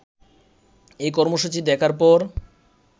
এই কর্মসূচি দেখার পর